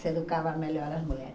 Se educava melhor as mulheres.